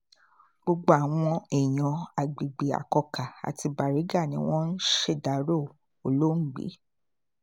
gbogbo àwọn èèyàn àgbègbè akọ́kà àti baríga ni wọ́n ń ṣèdàrọ olóògbé